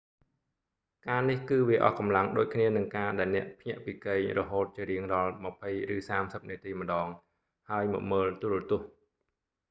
ការនេះគឺវាអស់កម្លាំងដូចគ្នានឹងការដែលអ្នកភ្ញាក់ពីគេងរហូតជារៀងរាល់ម្ភៃ ឬសាមសិបនាទីម្តង ហើយមកមើលទូរទស្សន៍